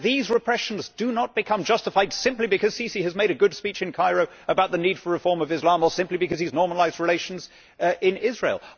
This repression does not become justified simply because Sisi has made a good speech in Cairo about the need for reform of Islam, or simply because he has normalised relations with Israel.